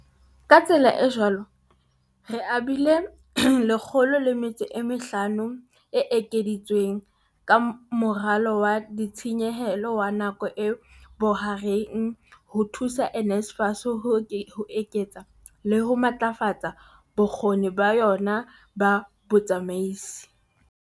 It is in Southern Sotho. Ka tsela e jwalo re abile R105 miliyone e ekeditsweng ka Moralo wa Ditshenyehelo wa Nako e Bohareng ho thusa NSFAS ho eketsa le ho matlafatsa bokgoni ba yona ba botsamaisi.